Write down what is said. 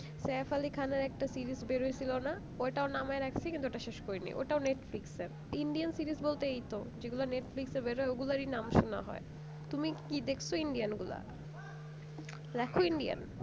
Saif Ali Khan এর একটা series বেরোয় ছিল না ওটাও নামিয়ে রাখছি কিন্তু ওটা শেষ করিনি ওটাও netflix এর indian series বলতে এইতো যেগুলা netflix এ বেরোয় ওগুলারই নাম শোনা হয় তুমি কি দেখছো indian গুলা দেখো indian